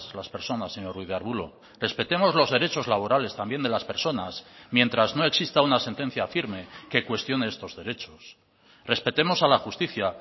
las personas señor ruiz de arbulo respetemos los derechos laborales también de las personas mientras no exista una sentencia firme que cuestione estos derechos respetemos a la justicia